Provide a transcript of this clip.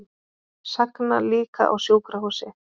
Sagna líka á sjúkrahúsi